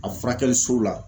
A furakɛli sow la